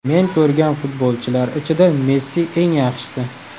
Men ko‘rgan futbolchilar ichida Messi eng yaxshisi.